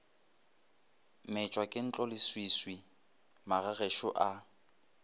metšwa ke ntloleswiswi magagešo a